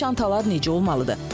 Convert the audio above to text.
Bəs çantalar necə olmalıdır?